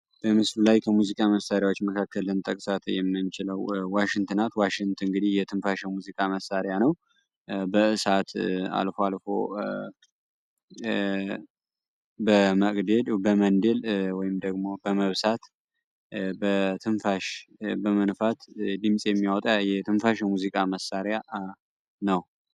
በምስሉ ላይ ሙዚቃ መሳሪያዎች መካከል ልንጠቅሳት የምንችለው ዋሽንት ናት። ዋሽንት እንግዲህ የትንፋሽ ሙዚቃ መሳሪያ ነው በእሳት አልፎ አልፎ በመቅደድ በመንደል ወይም ደግሞ በመብሳት በትንፋሽ በመንፋት ድምፅ የሚያወጣ የትንፋሽ ሙዚቃ መሳሪያ ነው።